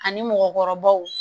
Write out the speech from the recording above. Ani mɔgɔkɔrɔbaw